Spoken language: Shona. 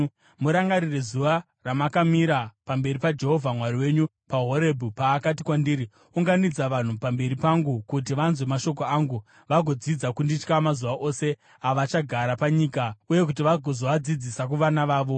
Murangarire zuva ramakamira pamberi paJehovha Mwari wenyu paHorebhi, paakati kwandiri, “Unganidza vanhu pamberi pangu kuti vanzwe mashoko angu vagodzidza kunditya mazuva ose avachagara panyika uye kuti vagozoadzidzisa kuvana vavo.”